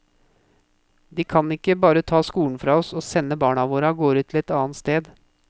De kan ikke bare ta skolen fra oss, og sende barna våre av gårde til et annet sted.